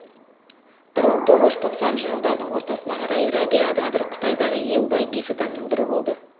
бір мың тоғыз жүз тоқсаныншы жылдардың ортасына қарай рәбия қадыр қытайдағы ең бай бес адамның бірі болды